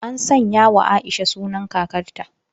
An sanyawa Aisha sunan kakarta.